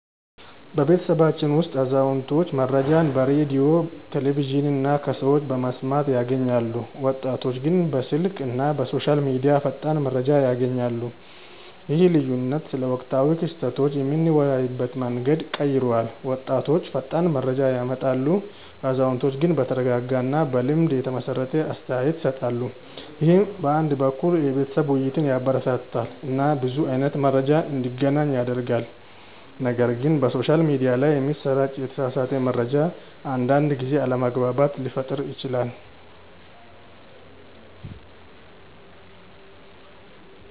በቤተሰባችን ውስጥ አዛውንቶች መረጃን በሬዲዮ፣ ቴሌቪዥን እና ከሰዎች በመስማት ያገኛሉ፣ ወጣቶች ግን በስልክ እና በሶሻል ሚዲያ ፈጣን መረጃ ያገኛሉ። ይህ ልዩነት ስለ ወቅታዊ ክስተቶች የምንወያይበትን መንገድ ቀይሯል፤ ወጣቶች ፈጣን መረጃ ያመጣሉ፣ አዛውንቶች ግን በተረጋጋ እና በልምድ የተመሰረተ አስተያየት ይሰጣሉ። ይህ አንድ በኩል የቤተሰብ ውይይትን ያበረታታል እና ብዙ አይነት መረጃ እንዲገናኝ ያደርጋል፣ ነገር ግን በሶሻል ሚዲያ ላይ የሚሰራጭ የተሳሳተ መረጃ አንዳንድ ጊዜ አለመግባባት ሊፈጥር ይችላል